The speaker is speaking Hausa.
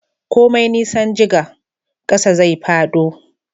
komai nisan jiga, ƙasa zai fado